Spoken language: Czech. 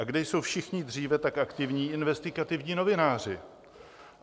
A kde jsou všichni dříve tak aktivní investigativní novináři?